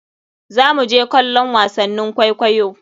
Zamu je kallon wasannin kwaikwaiyo.